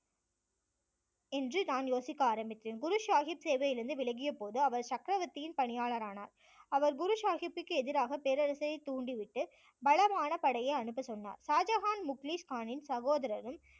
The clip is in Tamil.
என்று நான் யோசிக்க ஆரம்பித்தேன் குரு சாஹிப் சேவையிலிருந்து விலகிய போது அவர் சக்கரவர்த்தியின் பணியாளரானார் அவர் குரு சாஹிப்புக்கு எதிராக பேரரசை தூண்டிவிட்டு பலமான படையை அனுப்பச் சொன்னார் ஷாஜகான் முக்லீஸ் கானின் சகோதரரும்